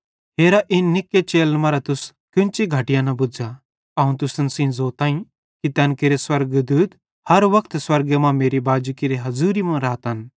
हेरा इन निक्के चेलन मरां तुस केन्ची घटिया न बुझ़ा अवं तुसन सेइं ज़ोताईं कि तैन केरे स्वर्गदूत हर वक्त स्वर्गे मां मेरे बाजी केरे हज़ूरी मां रातन